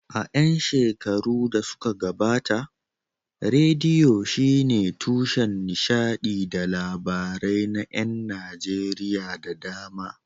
A ƴan shekarun da suka gabata, rediyo shine tushen nishadi da labarai na ƴan Najeriya da dama.